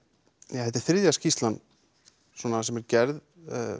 þetta er þriðja skýrslan sem er gerð